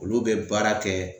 Olu bɛ baara kɛ